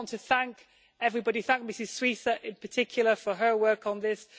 I just want to thank everybody, thank Ms Šuica in particular for her work on this.